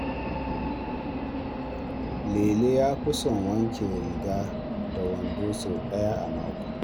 Lele ya fi son wanke riga da wando sau ɗaya a mako.